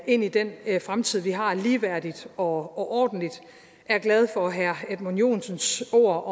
ind i den fremtid vi har ligeværdigt og ordentligt jeg er glad for herre edmund joensens ord